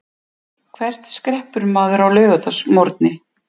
Hvert skreppur maður á laugardagsmorgni?